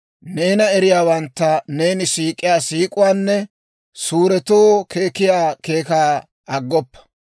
Neena eriyaawantta neeni siik'iyaa siik'uwaanne suuretoo keekkiyaa keekaa aggoppa.